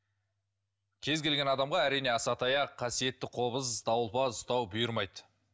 кез келген адамға әрине асатаяқ қасиетті қобыз дауылпаз ұстау бұйырмайды